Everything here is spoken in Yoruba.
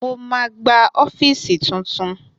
Mo ma gba ọ́fíìsì tuntun